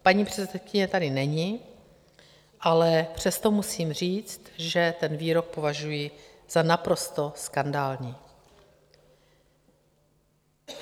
Paní předsedkyně tady není, ale přesto musím říct, že ten výrok považuji za naprosto skandální.